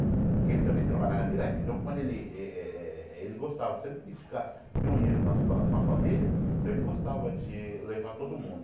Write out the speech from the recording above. Porque ele também trabalhava direto, então quando ele eh eh eh... Ele gostava sempre de ficar reunido com as fa a família, então ele gostava de levar todo mundo.